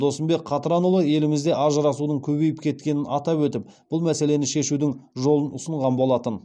досымбек қатранұлы досымбек қатранұлы елімізде ажырасудың көбейіп кеткенін атап өтіп бұл мәселені шешудің жолын ұсынған болатын